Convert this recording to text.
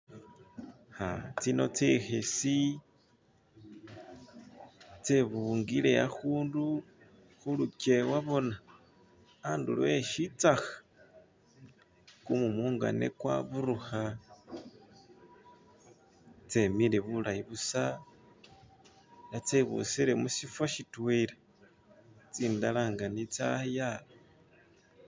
Tsino tsikhisi tsebungile akhundu khulukyewa bona andulo esitsakha kumumu nga ne kwaburukha tsemile bulayi busa tsebusile musifa sitwela tsindala nga ni tsaya.